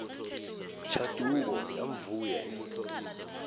tshanduko ya vhue